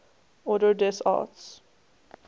ordre des arts